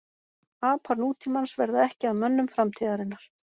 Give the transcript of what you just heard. Apar nútímans verða ekki að mönnum framtíðarinnar.